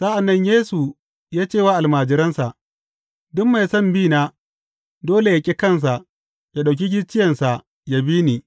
Sa’an nan Yesu ya ce wa almajiransa, Duk mai son bina, dole yă ƙi kansa, yă ɗauki gicciyensa, yă bi ni.